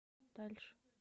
дальше